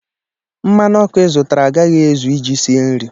mmanụ ọkụ ị zụtara agaghị ezu iji sie nri